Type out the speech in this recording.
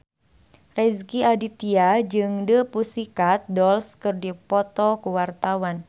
Rezky Aditya jeung The Pussycat Dolls keur dipoto ku wartawan